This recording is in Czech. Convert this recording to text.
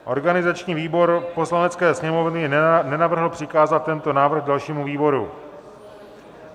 Organizační výbor Poslanecké sněmovny nenavrhl přikázat tento návrh dalšímu výboru.